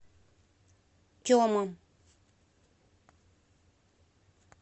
тема